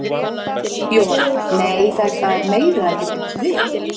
Jóhanna: Nei, þetta er meira en þið bjuggust við?